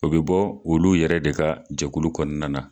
O bɛ bɔ olu yɛrɛ de ka jɛkulu kɔnɔna na.